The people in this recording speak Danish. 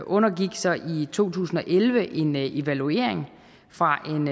undergik så i to tusind og elleve en evaluering fra